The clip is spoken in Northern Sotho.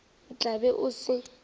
o tla be o se